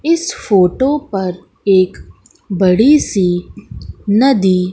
इस फोटो पर एक बड़ी सी नदी--